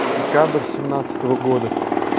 декабрь семнадцатого года